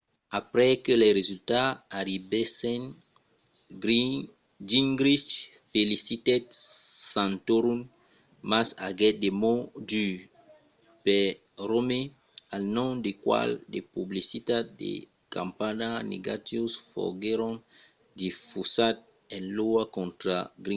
aprèp que los resultats arribèssen gingrich felicitèt santorum mas aguèt de mots durs per romney al nom del qual de publicitats de campanha negatius foguèron difusats en iowa contra gingrich